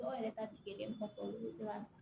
Dɔw yɛrɛ ta tigɛlen kɔfɛ olu bɛ se ka